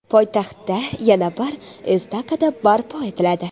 Poytaxtda yana bir estakada barpo etiladi.